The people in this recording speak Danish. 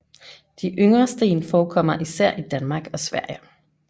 De yngre sten forekommer især i Danmark og Sverige